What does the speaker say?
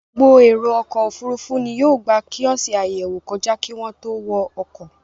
Gbogbo èrò ọkọ̀-òfurufú ni yóò gba kíọ́sì àyẹ̀wò kọjá kí wọ́n tó wọ ọkọ̀.